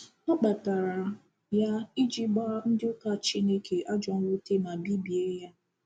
Ọ kpatara ya “iji gbaa ndị ụka Chineke ajọ mwute ma bibie ya.”